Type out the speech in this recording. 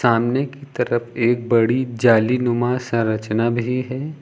सामने की तरफ एक बड़ी जाली नुमा संरचना भी है।